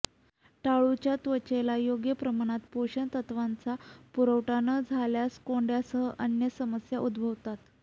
टाळूच्या त्वचेला योग्य प्रमाणात पोषण तत्त्वांचा पुरवठा न झाल्यास कोंड्यासह अन्य समस्या उद्भवतात